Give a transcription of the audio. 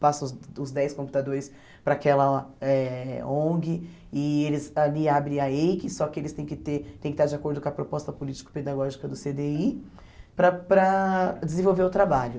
passa os os dez computadores para aquela eh ONG e eles ali abrem a EIC, só que eles têm que ter têm que estar de acordo com a proposta político-pedagógica do cê dê i para para desenvolver o trabalho.